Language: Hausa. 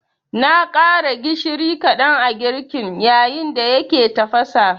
Na ƙara gishiri kaɗan a girkin, yayin da yake tafasa